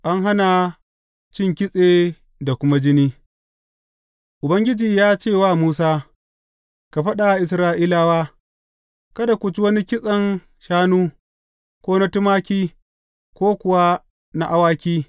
An hana cin kitse da kuma jini Ubangiji ya ce wa Musa, Ka faɗa wa Isra’ilawa, Kada ku ci wani kitsen shanu, ko na tumaki, ko kuwa na awaki.